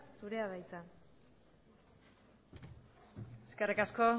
zurea da hitza eskerrik asko